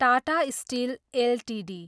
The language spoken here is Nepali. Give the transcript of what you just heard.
Tata steel Ltd